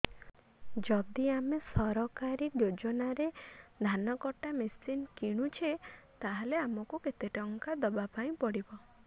ଯଦି ଆମେ ସରକାରୀ ଯୋଜନାରେ ଧାନ କଟା ମେସିନ୍ କିଣୁଛେ ତାହାଲେ ଆମକୁ କେତେ ଟଙ୍କା ଦବାପାଇଁ ପଡିବ